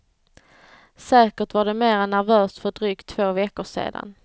Säkert var det mera nervöst för drygt två veckor sedan.